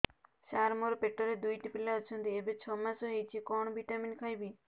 ସାର ମୋର ପେଟରେ ଦୁଇଟି ପିଲା ଅଛନ୍ତି ଏବେ ଛଅ ମାସ ହେଇଛି କଣ ଭିଟାମିନ ଖାଇବି